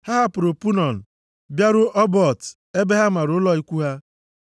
Ha hapụrụ Punon bịaruo Obot ebe ha mara ụlọ ikwu ha.